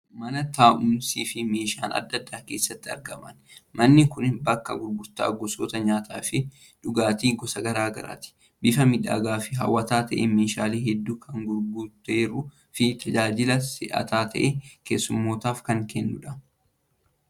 Mana taa'umsii fi meeshaaleen addaa addaa keessatti argaman. Manni kun bakka gurgurtaa gosoota nyaataa fi dhugaatii gosa garaa garaati. Bifa miidhagaa fi hawwataa ta'een meeshaalee hedduu kan guuttatteeruu fi tajaajila si'ataa ta'e keessummootaaf kan kennudha.